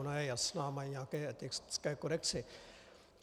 Ona je jasná, mají nějaké etické kodexy.